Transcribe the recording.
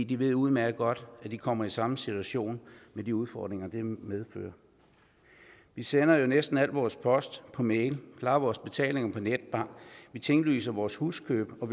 de ved udmærket godt at de kommer i samme situation med de udfordringer det medfører vi sender jo næsten al vores post per mail klarer vores betalinger via netbank tinglyser vores huskøb og